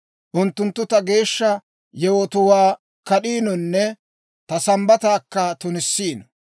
Unttunttu ta geeshsha yewotuwaa kad'iinonne ta Sambbataakka tunissiino.